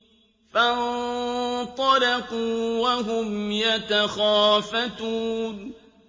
فَانطَلَقُوا وَهُمْ يَتَخَافَتُونَ